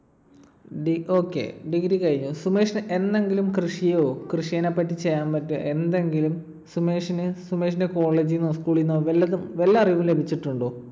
okay. Degree കഴിഞ്ഞു. സുമേഷ് എന്നെങ്കിലും കൃഷിയോ കൃഷിനെപ്പറ്റി ചെയ്യാൻ പറ്റിയ എന്തെങ്കിലും സുമേഷിന് സുമേഷിന്റെ college ന്നോ school ലിന്നോ വല്ലതും വല്ല അറിവും ലഭിച്ചിട്ടുണ്ടോ?